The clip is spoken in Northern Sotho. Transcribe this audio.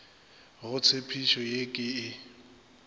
go tshepišo ye ke e